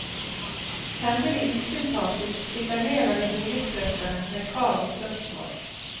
Temmelig usympatisk sjikanerer de boligsøkerne med krav og spørsmål.